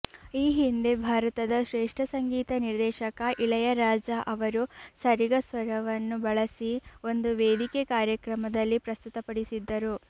ಈ ಹಿಂದೆ ಭಾರತದ ಶ್ರೇಷ್ಠ ಸಂಗೀತ ನಿರ್ದೇಶಕ ಇಳಯರಾಜಾ ಅವರು ಸರಿಗ ಸ್ವರವನ್ನು ಬಳಸಿ ಒಂದು ವೇದಿಕೆ ಕಾರ್ಯಕ್ರಮದಲ್ಲಿ ಪ್ರಸ್ತುತಪಡಿಸಿದ್ದರು